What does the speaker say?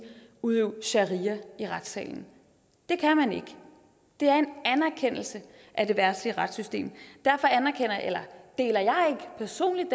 udøve sharia i retssalen det kan man ikke der er en anerkendelse af det verdslige retssystem derfor deler jeg personligt